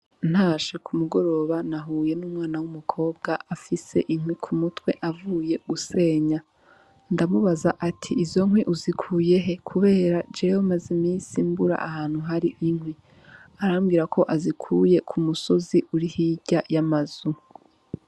Ntashe k'umugoroba nahuye n'umwana w'umukobwa afise inkwi k'umutwe avuye gusenya, ndamubaza nti :<< izo nkwi uzikuye he ? kubera jewe maze imisi mbura ahantu hari inkwi.>> arambwira ko azikuye ku musozi uri hirya y'amazu.